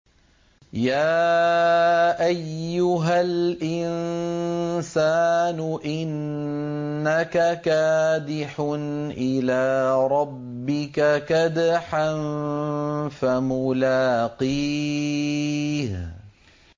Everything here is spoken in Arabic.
يَا أَيُّهَا الْإِنسَانُ إِنَّكَ كَادِحٌ إِلَىٰ رَبِّكَ كَدْحًا فَمُلَاقِيهِ